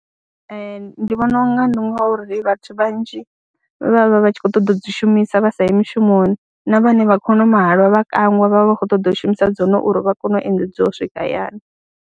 Ee, ndi vhona u nga ndi ngori vhathu vhanzhi vha vha vha vha tshi khou ṱoḓa u dzi shumisa vha sa yi mishumoni na vhane vha khou nwa mahalwa vha kangwa vha vha vha khou ṱoḓa u shumisa dzone uri vha kone u endedziwa u swika hayani.